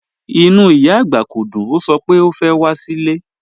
Ìnú ìyá agbá kò dùn, o sọ̀ pẹ̀ o fẹ́ wà sí ilẹ̀.